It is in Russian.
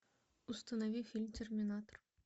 установи фильм терминатор